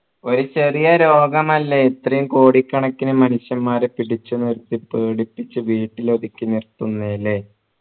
ഒരു ചെറിയ രോഗം ഇത്രെയും കോടി കണക്കിന് മനുഷ്യന്മാരെ പിടിച്ചു നിർത്തി പേടിപ്പിച്ചു വീട്ടിൽ ഒതുക്കി നിർത്തുന്നെ ല്ലേ